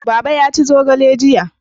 Baba ya ci zogale jiya